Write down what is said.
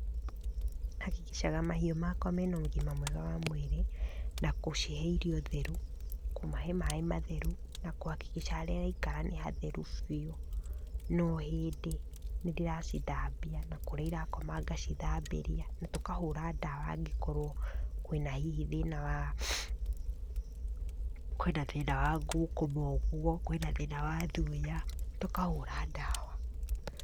Hakikicaga mahiũ makwa mena ũgima mwega wa mwĩri na kũcihe irio theru, kũmahe maĩ matheru na kũhakikica harĩa ĩraikara nĩ hatheru biũ no hĩndĩ nĩ ndĩracithambia na kũrĩa irakoma ngacithambĩria na tũkahũra ndawa angĩkorwo kwĩna hihi thĩna wa, kwĩna thĩna wa ngũkũma ũguo, kwĩna thĩna wa thuya, tũkahũra ndawa.